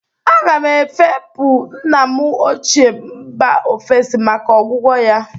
Aga m efepụ nna m ochịe, mba ofesi maka ọgwụgwọ ya.